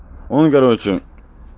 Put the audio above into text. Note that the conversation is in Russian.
он короче